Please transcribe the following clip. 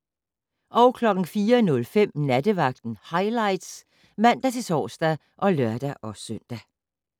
04:05: Nattevagten Highlights (man-tor og lør-søn)